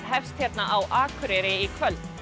hefst hér á Akureyri í kvöld